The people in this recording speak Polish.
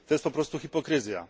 To jest po prostu hipokryzja.